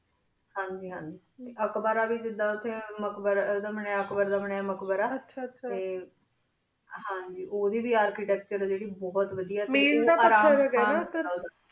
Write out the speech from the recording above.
ਹਨ ਜੀ ਹਨ ਜੀ ਅਕਬਰ ਦਾ ਵੇ ਉਠੀ ਮਕਬਰਾ ਬਨਯ ਅਕਬਰ ਦਾ ਬਨਯ ਮਕਬਰਾ ਆਚਾ ਉੜੇ ਵੇ ਅਰ੍ਚੇਤਾਕ੍ਤੁਰੇ ਬੁਹਤ ਵਾਦੇਯਾ ਮਿਲ ਦਾ ਪਥਰ ਹੀ ਗਾ ਨਾ